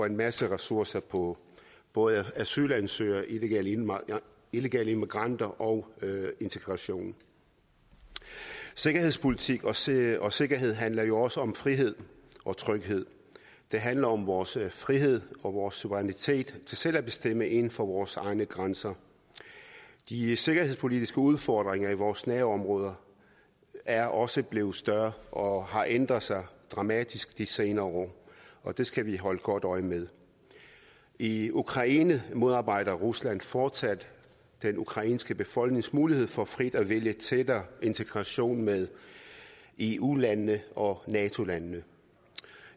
en masse ressourcer på både asylansøgere illegale immigranter illegale immigranter og integration sikkerhedspolitik og sikkerhed og sikkerhed handler jo også om frihed og tryghed det handler om vores frihed og vores suverænitet til selv at bestemme inden for vores egne grænser de sikkerhedspolitiske udfordringer i vores nærområder er også blevet større og har ændret sig dramatisk i de senere år og det skal vi holde godt øje med i ukraine modarbejder rusland fortsat den ukrainske befolknings mulighed for frit at vælge tættere integration med eu landene og nato landene